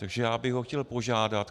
Takže já bych ho chtěl požádat.